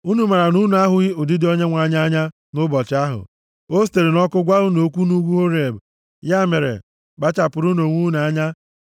Unu maara na unu ahụghị ụdịdị Onyenwe anyị anya nʼụbọchị ahụ o sitere nʼọkụ gwa unu okwu nʼugwu Horeb. Ya mere kpachapụrụnụ onwe unu anya